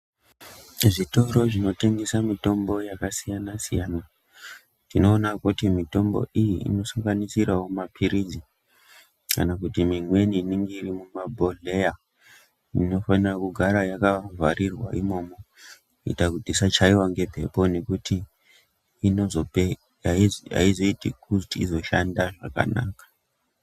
Zvitoro zvinotengesa mitombo yakasiyana-siyana, tinoona kuti mitombo iyi inosanganisirawo maphirizi kana mimweni inenge iri mumabhodhleya inofana kugara yakavhariwa imomo, kuita kuti isachaiwa ngemphepo, ngekuti aizoiti kuti izoshanda zvakanaka.